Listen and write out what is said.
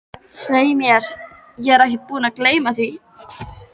Svei mér ef ég er ekki búinn að gleyma því